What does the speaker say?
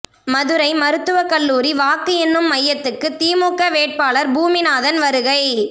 மதுரை மருத்துவக் கல்லூரி வாக்கு எண்ணும் மையத்துக்கு திமுக வேட்பாளர் பூமிநாதன் வருகை